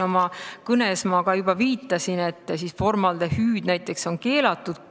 Oma kõnes ma ka viitasin, et näiteks formaldehüüd on keelatud.